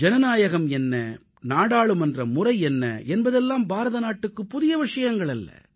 ஜனநாயகம் என்ன நாடாளுமன்ற முறை என்ன என்பதெல்லாம் பாரத நாட்டுக்குப் புதிய விஷயங்களல்ல